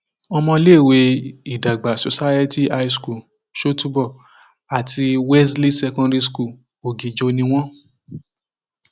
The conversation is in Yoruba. ọmọléèwé ìdàgbà society high school ṣọtúbọ àti wesley secondary school ọgíjọ ni wọn